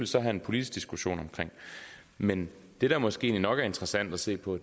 så have en politisk diskussion om men det der måske nok er interessant at se på